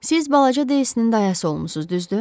Siz balaca Deysinin dayası olmusunuz, düzdür?